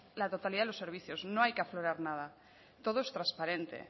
la totalidad de los servicios no hay que aflorar nada todo es transparente